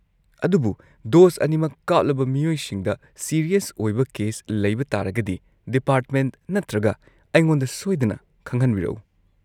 ꯑꯗꯨꯕꯨ ꯗꯣꯁ ꯑꯅꯤꯃꯛ ꯀꯥꯞꯂꯕ ꯃꯤꯑꯣꯏꯁꯤꯡꯗ ꯁꯤꯔꯤꯌꯁ ꯑꯣꯏꯕ ꯀꯦꯁ ꯂꯩꯕ ꯇꯥꯔꯒꯗꯤ ꯗꯤꯄꯥꯔꯠꯃꯦꯟꯠ ꯅꯠꯇ꯭ꯔꯒ ꯑꯩꯉꯣꯟꯗ ꯁꯣꯏꯗꯅ ꯈꯪꯍꯟꯕꯤꯔꯛꯎ꯫